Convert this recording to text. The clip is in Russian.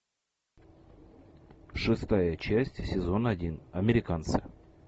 шестая часть сезон один американцы